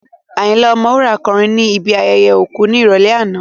Ayinla Ọmọwura kọrin ní ibi ayẹyẹ òkú ní ìrọ̀lẹ́ àná